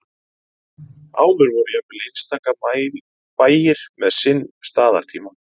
áður voru jafnvel einstaka bæir með sinn staðartíma